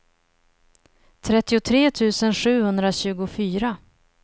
trettiotre tusen sjuhundratjugofyra